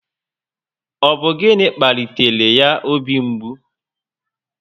Ọ bụ gịnị kpalitere ya obi mgbu?